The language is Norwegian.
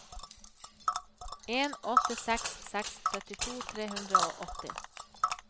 en åtte seks seks syttito tre hundre og åtti